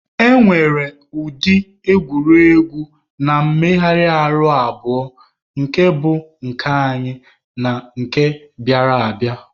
E nwere ụdị egwuregwu na mmegharị ahụ abụọ nke bụ nke anyị na nke bịara abịa.